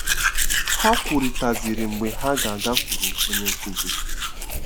Ha kwurịtaziri mgbe ha ga-agakwuru onye nkụzi.